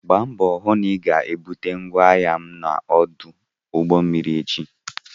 Gba mbọ hụ na ị ga-bute ngwaahịa m na ọdụ ụgbọ mmiri echi!